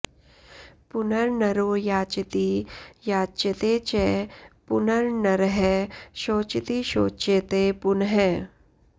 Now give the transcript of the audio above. पुनर्नरो याचति याच्यते च पुनर्नरः शोचति शोच्यते पुनः